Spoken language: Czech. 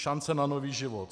Šance na nový život.